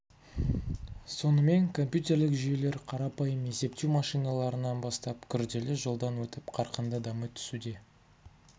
сонымен компьютерлік жүйелер қарапайым есептеу машиналарынан бастап күрделі жолдан өтіп қарқынды дами түсуде